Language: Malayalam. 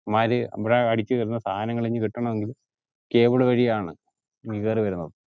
ഇവന്മാർ അവിടെ അടിച്ച വരുന്ന സാധനങ്ങൾ ഇനിക്ക് കിട്ടണമെങ്കിൽ cable വഴിയാണ് ഇങ് കേറി വരുന്നത്